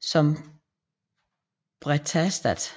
som Brethaestath